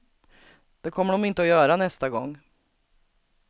Det kommer de inte att göra nästa gång.